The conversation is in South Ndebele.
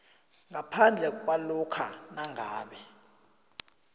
ngaphandle kwalokha nangabe